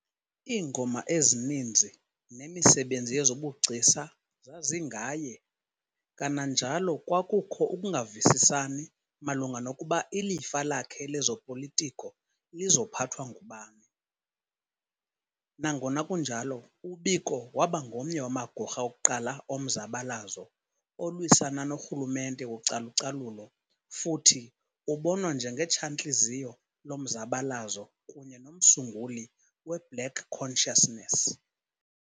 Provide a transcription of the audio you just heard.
Iingoma ezininzi nemisebenzi yezobugcisa zazingaye, kanajalo kwakukho ukungavisisani malunga nokuba ilifa lakhe lezopolitiko lizophathwa ngubani. Nongona kunjalo, uBiko wabangomnye wamagorha okuqala omzabalazo olwisana norhumente wocalucalulo futhi ubonwa njenge tshantliziyo lomzabalazo kunye nomsunguli we-Black Consciousness